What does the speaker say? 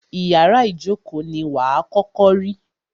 Ìyárá ìjókó ní wà à kọ́kọ́ rí.